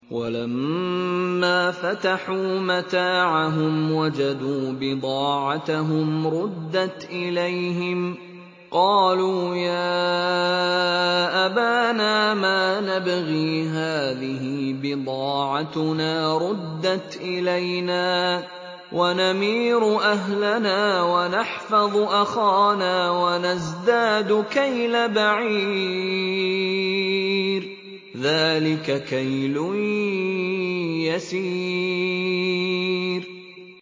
وَلَمَّا فَتَحُوا مَتَاعَهُمْ وَجَدُوا بِضَاعَتَهُمْ رُدَّتْ إِلَيْهِمْ ۖ قَالُوا يَا أَبَانَا مَا نَبْغِي ۖ هَٰذِهِ بِضَاعَتُنَا رُدَّتْ إِلَيْنَا ۖ وَنَمِيرُ أَهْلَنَا وَنَحْفَظُ أَخَانَا وَنَزْدَادُ كَيْلَ بَعِيرٍ ۖ ذَٰلِكَ كَيْلٌ يَسِيرٌ